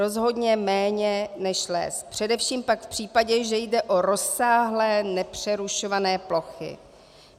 Rozhodně méně, než les, především pak v případě, že jde o rozsáhlé nepřerušované plochy.